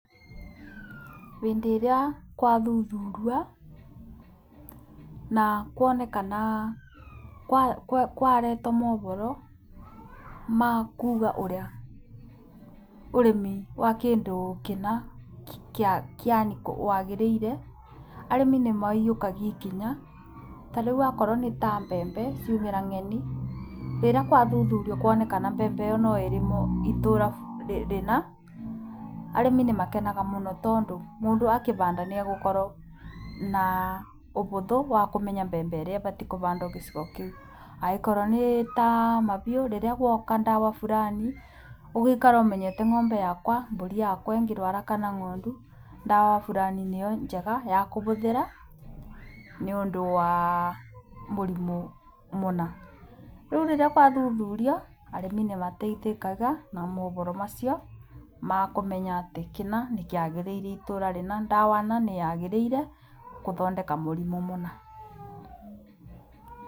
Hĩndĩ ĩrĩa gwathuthurio na kwarehwo mohoro ma kuuga ũrĩa ũrĩmi wa kĩndũ kĩna ũrĩa wagĩrĩire, arĩmi nĩmaiyũkagia ikinya, ta rĩu akorwo nĩ ta mbembe ciaumĩra ng'eni, rĩrĩa gwathuthurio kuonekana mbembe ĩyo no ĩrĩmwo itũũra rĩna, arĩmi nĩmakenaga mũno tondũ akĩhanda nĩagũkorwo na ũhũthũ wa kũmenya mbembe iria ibatiĩ kũhandwo gĩcigo kĩu. Angĩkorwo nĩ ta ma biũ rĩrĩ guoka ndawa burani, ũgaikara ũmenyete ng'ombe yakwa, mbũri yakwa ĩngĩrwara kana ng'ondu, ndawa burani nĩyo njega ya kũhũthĩra nĩ ũndũ wa mũrimũ mũna. Rĩu rĩrĩa gwathuthurio, arĩmi nĩmateithĩkaga na mohoro macio makũmenya atĩ kĩna nĩkĩagĩrĩire itũra rĩna, ndawa na nĩyagĩrĩire gũthondeka mũrimũ mũna.